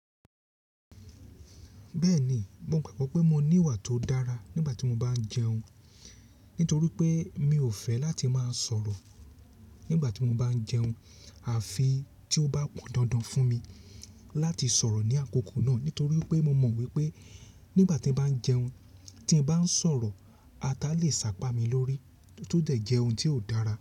Bẹ́ẹ̀ni, mo gbagbo pé mo ní ìwà tó dára nígbà tí mo bá ń jẹun, nítorí pé mi ò fẹ́ láti máa sọ̀rọ̀. Nígbà tí mo bá ń jẹun, àfi tí ó bá pọ̀n dandan fún mi láti sọ̀rọ̀ ní àkókò náà. Nítorí pé mo mọ̀ wípé nígbà tí ń bá ń jẹun tí ń bá ń sọ̀rọ̀, ata lè sápá mi lórí tó dẹ̀ jẹ ohun tí ò dára.